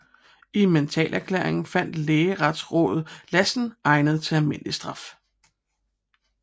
I mentalerklæringen fandt retslægerådet Lassen egnet til almindelig straf